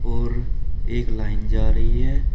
और एक लाइन जा रही है।